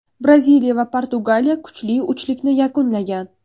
Braziliya va Portugaliya kuchli uchlikni yakunlagan.